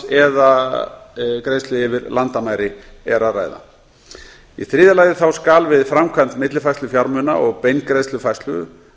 eða greiðslu yfir landamæri lands er að ræða í þriðja lagi skal við framkvæmd millifærslu fjármuna og beingreiðslufærslu skal